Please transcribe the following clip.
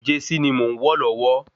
Jẹsí ni mò ń wọ̀ lọ́wọ́